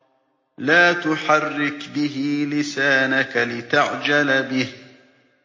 لَا تُحَرِّكْ بِهِ لِسَانَكَ لِتَعْجَلَ بِهِ